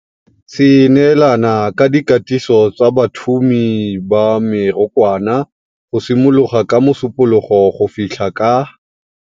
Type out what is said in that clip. Se neelana ka dikatiso tsa bathumi ba mekorwana go simolola ka Mosupologo go fitlha ka.